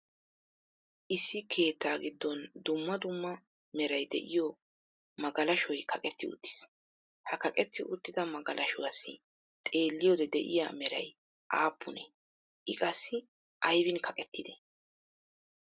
Issi keettaa giddon dumma dumma meray de'iyo magalashoy kaqqetti uttiis, ha kaqqetti uttida magalashuwaassi xeeliyode de'iya meray aappunee? I qassi aybiin kaqqettidee?